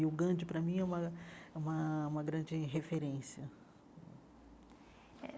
E o Gandhi, para mim, é uma é uma uma grande referência.